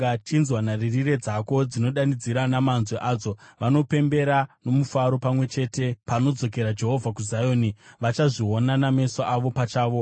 Chinzwa! Nharirire dzako dzinodanidzira namanzwi adzo; vanopembera nomufaro pamwe chete. Panodzokera Jehovha kuZioni, vachazviona nameso avo pachavo.